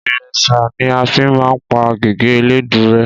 Ìrésà ní afi máa ń pá gègé eléèdú rẹ́